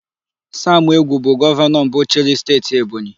Samụ Egwu bụ gọvanọ mbụ chịrị Steeti Ebonyi.